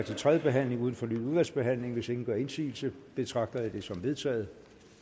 til tredje behandling uden fornyet udvalgsbehandling hvis ingen gør indsigelse betragter jeg det som vedtaget